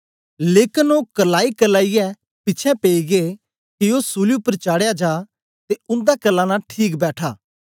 लेकन ओ क्रल्लाईक्रल्लाईयै पिछें पेई गै के ओ सूली उपर चाढ़या जा ते उन्दा क्रल्लाना ठीक बैठा